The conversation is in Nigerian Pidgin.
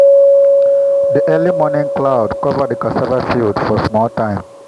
the early morning cloud cover the cassava field for small time.